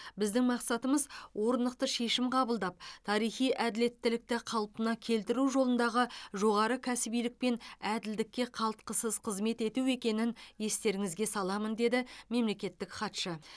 біздің мақсатымыз орнықты шешім қабылдап тарихи әділеттілікті қалпына келтіру жолындағы жоғары кәсібилік пен әділдікке қалтқысыз қызмет ету екенін естеріңізге саламын деді мемлекеттік хатшы